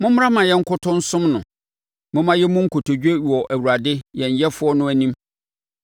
Mommra mma yɛnkoto nsom no. Momma yɛmmu nkotodwe wɔ Awurade yɛn Yɛfoɔ no anim!